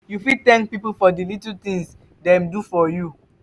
you fit thank people for di little tings dem do for you.